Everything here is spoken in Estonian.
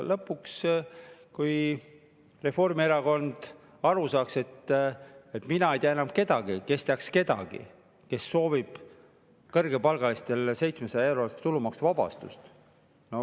Lõpuks, kui Reformierakond ka sellest aru saaks, aga näiteks mina ei tea enam kedagi, kes teaks kedagi, kes sooviks kõrgepalgalistele 700‑eurost tulumaksuvabastust.